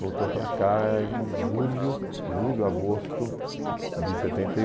Voltou para cá em julho, julho, agosto de setenta e